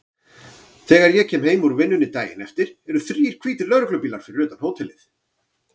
Þegar ég kem heim úr vinnunni daginn eftir eru þrír hvítir lögreglubílar fyrir utan hótelið.